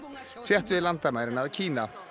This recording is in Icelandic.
þétt við landamærin að Kína